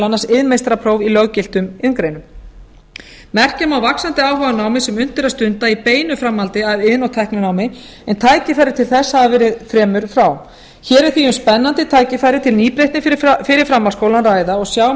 annars iðnmeistarapróf í löggiltum iðngreinum merki um vaxandi áhuga á námi sem unnt er að stunda í beinu framhaldi af iðn og tækninámi en tækifæri til þess hafa verið fremur fá hér er því um spennandi tækifæri til nýbreytni fyrir framhaldsskóla að ræða og sjá